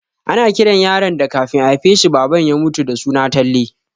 Ana kiran yaron da kafin a haifa shi Baban shi ya mutu da suna Talle